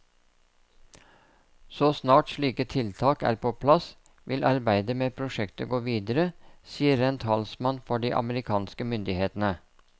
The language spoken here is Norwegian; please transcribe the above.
Så snart slike tiltak er på plass, vil arbeidet med prosjektet gå videre, sier en talsmann for de amerikanske myndighetene.